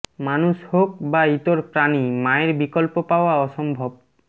মানুষ হোক বা ইতর প্রাণী মায়ের বিকল্প পাওয়া অসম্ভব